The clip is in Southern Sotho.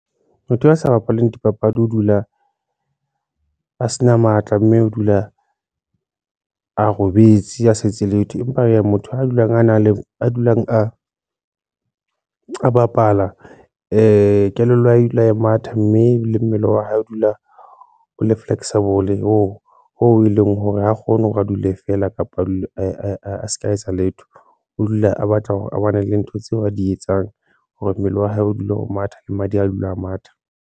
Motho ya sa bapaleng dipapadi o dula a se na matla mme o dula a robetse, a se etse letho empa hee ya motho a dulang a na le a dulang, a bapala kelello ya hae e dula a matha mme le mmele wa hae o dula o le flexible oo ho e leng hore ha kgone hore a dule feela kapa a dule a se ka etsa letho, o dula a batla hore a bone le ntho tseo a di etsang hore mmele wa hae o dule ho matha le madi, a dule a matha.